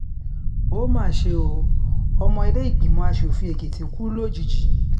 ó mà ṣe ọ́ ọmọ ìlẹ́ẹ̀gbìmọ aṣòfin èkìtì kú lójijì